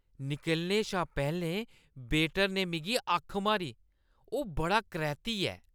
निकलने शा पैह्‌लें वेटर ने मिगी अक्ख मारी । ओह् बड़ा करैह्‌ती ऐ।